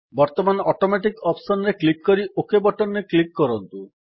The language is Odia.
ବର୍ତ୍ତମାନ ଅଟୋମେଟିକ୍ ଅପ୍ସନ୍ ରେ କ୍ଲିକ୍ କରି ଓକ୍ ବଟନ୍ ରେ କ୍ଲିକ୍ କରନ୍ତୁ